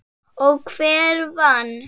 Og hver vann?